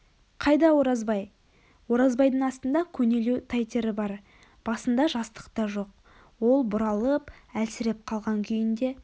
қайда оразбай оразбайдың астында көнелеу тайтері бар басында жастықта жоқ ол бұралып әлсіреп қалған күйінде